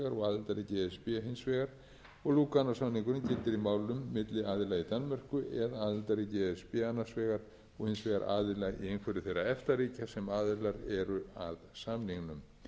og aðildarríki e s b hins vegar og lúganósamningurinn gildir í málum milli aðila í danmörku eða aðildarríki e s b annars vegar og hins vegar aðila í einhverju þeirra efta ríkja sem aðilar eru að samningnum